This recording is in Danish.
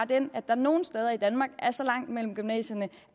den at der nogle steder i danmark er så langt mellem gymnasierne